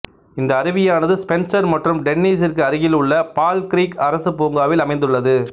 இந்த அருவியானது ஸ்பென்சர் மற்றும் டென்னீஸிற்கு அருகில் உள்ள பால் கிரீக் அரசு பூங்காவில் அமைந்துள்ளது